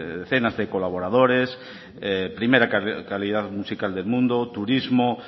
decenas de colaboradores primera calidad musical del mundo turismo